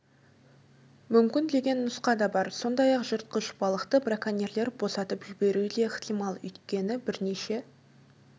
мүмкін деген нұсқа да бар сондай-ақ жыртқыш балықты браконьерлер босатып жіберуі де ықтимал өйткені бірнеше